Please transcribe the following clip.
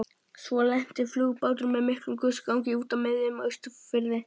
Svo lenti flugbáturinn með miklum gusugangi úti á miðjum Austurfirði.